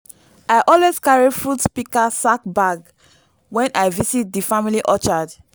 i always carry fruit pika sack bag wen i visit di family orchard